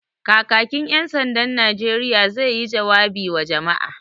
Kakakin ƴan sandan Najeriya zai yi jawabi wa jama'a